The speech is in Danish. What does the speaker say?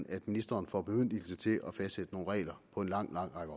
er at ministeren får bemyndigelse til at fastsætte nogle regler på en lang lang række